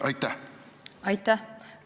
Aitäh!